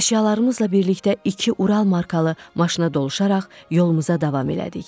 Əşyalarımızla birlikdə iki Ural markalı maşına doluşaraq yolumuza davam elədik.